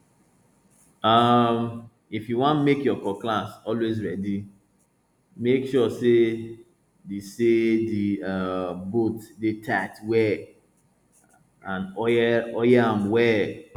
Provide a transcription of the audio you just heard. um if you wan make your cutlass always ready make sure say the say the um bolt de tight well and oil oil am well